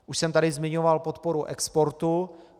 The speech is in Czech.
Už jsem tady zmiňoval podporu exportu.